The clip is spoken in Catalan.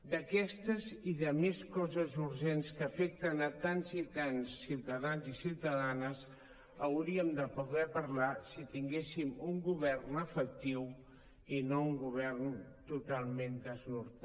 d’aquestes i de més coses urgents que afecten tants i tants ciutadans i ciutadanes hauríem de poder parlar si tinguéssim un govern efectiu i no un govern totalment sense nord